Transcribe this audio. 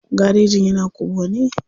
Garejin yana kubwa ne.